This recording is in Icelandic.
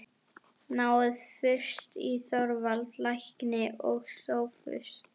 Náið fyrst í Þorvald lækni og Sophus.